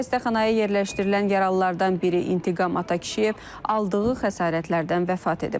Xəstəxanaya yerləşdirilən yaralılardan biri İntiqam Atakişiyev aldığı xəsarətlərdən vəfat edib.